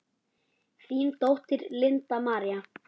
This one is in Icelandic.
Þín dóttir, Linda María.